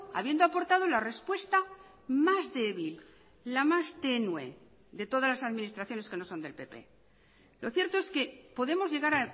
habiendo aportado la respuesta más débil la más tenue de todas las administraciones que no son del pp lo cierto es que podemos llegar